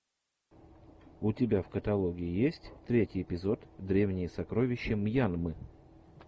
у тебя в каталоге есть третий эпизод древние сокровища мьянмы